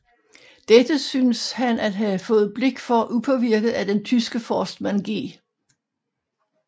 Dette synes han at have fået blik for upåvirket af den tyske forstmand G